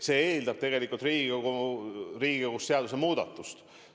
See eeldab Riigikogus seaduse muutmist.